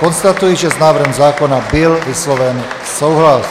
Konstatuji, že s návrhem zákona byl vysloven souhlas.